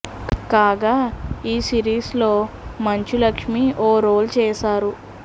కాగా ఈ సిరీస్ లో మంచు లక్ష్మీ ఓ రోల్ చేశారు